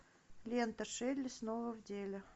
лента шелли снова в деле